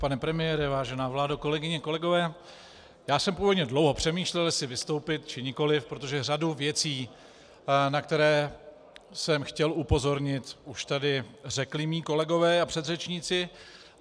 Pane premiére, vážená vládo, kolegyně, kolegové, já jsem původně dlouho přemýšlel, jestli vystoupit, či nikoli, protože řadu věcí, na které jsem chtěl upozornit, už tady řekli mí kolegové a předřečníci.